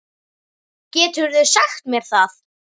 Geturðu sagt mér það?